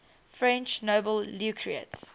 french nobel laureates